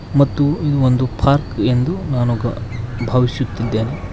ಮತ್ತು ಈ ಒಂದು ಪಾರ್ಕ್ ಎಂದು ನಾನು ಕ ಭಾವಿಸುತ್ತಿದ್ದೇನೆ.